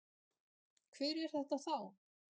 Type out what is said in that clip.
Hver er þetta þá?